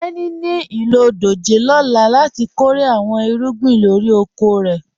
Tẹni ní ilọ dòjé lọ́là láti kọ́rè àwọn ìrúgbìn lórí òkò rẹ.